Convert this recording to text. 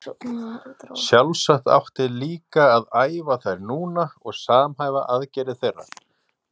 Sjálfsagt átti líka að æfa þær núna og samhæfa aðgerðir þeirra.